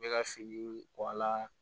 N bɛ ka finiw bɔ a la